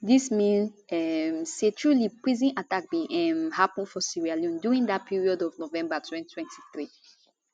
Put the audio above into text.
dis mean um say truly prison attack bin um happun for sierra leone during dat period of november 2023